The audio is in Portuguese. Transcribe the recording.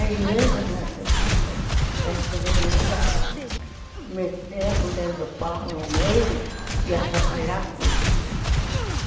A igreja, nesse ponto, é tremenda para meter a colher do pão no meio e atrapalhar tudo.